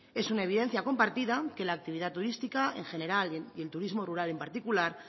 es una evidencia compartida que la actividad turística en general y el turismo rural en particular